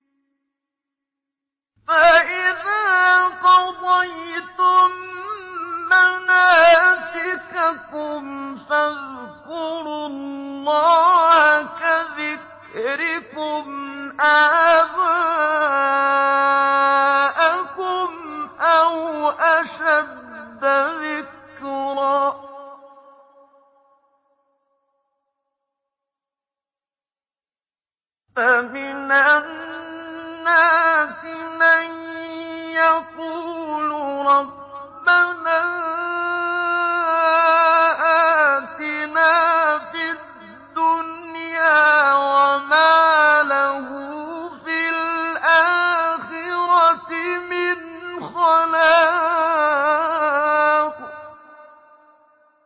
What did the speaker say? فَإِذَا قَضَيْتُم مَّنَاسِكَكُمْ فَاذْكُرُوا اللَّهَ كَذِكْرِكُمْ آبَاءَكُمْ أَوْ أَشَدَّ ذِكْرًا ۗ فَمِنَ النَّاسِ مَن يَقُولُ رَبَّنَا آتِنَا فِي الدُّنْيَا وَمَا لَهُ فِي الْآخِرَةِ مِنْ خَلَاقٍ